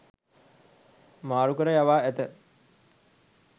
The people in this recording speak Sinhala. මාරුකර යවා ඇත.